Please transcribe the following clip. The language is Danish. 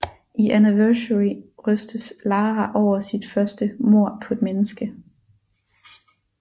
I Anniversary rystes Lara over sit første mord på et menneske